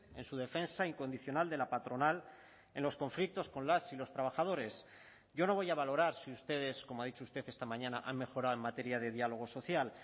en su defensa incondicional de la patronal en los conflictos con las y los trabajadores yo no voy a valorar si ustedes como ha dicho usted esta mañana han mejorado en materia de diálogo social